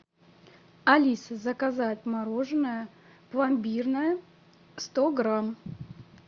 алиса заказать мороженое пломбирное сто грамм